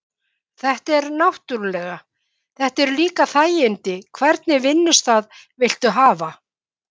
Þetta er náttúrulega. þetta eru líka þægindi, hvernig vinnustað viltu hafa?